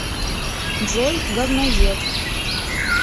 джой говноед